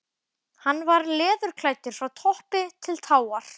Hann var leðurklæddur frá toppi til táar.